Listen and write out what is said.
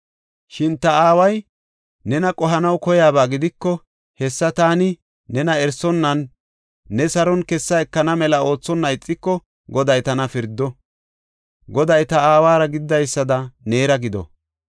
Shin ta aaway nena qohanaw koyaba gidiko, hessa taani nena erisonnanne neeni saron kessa ekana mela oothonna ixiko, Goday tana pirdo; Goday ta aawara gididaysada neera gido.